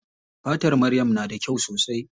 Fatar maryam na da kyau sosai.